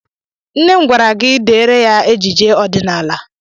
Nne m gwara gi deere ya ejije ọdịnaala!